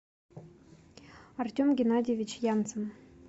артем геннадьевич янцен